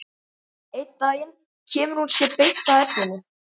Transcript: Einn daginn kemur hún sér beint að efninu.